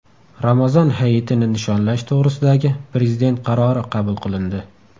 Ramazon Hayitini nishonlash to‘g‘risidagi Prezident qarori qabul qilindi.